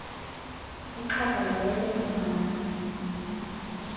ixhaka yeyele kumhadi